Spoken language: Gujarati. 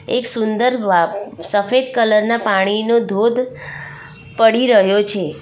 એક સુંદર વાદ સફેદ કલર ના પાણીનો ધોધ પડી રહ્યો છે.